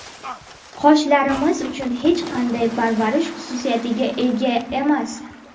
Qoshlarimiz uchun hech qanday parvarish xususiyatiga ega emas.